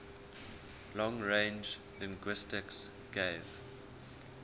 long range linguistics gave